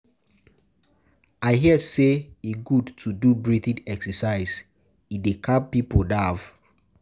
I hear sey e good to do breathing exercises, e dey calm pipo nerve.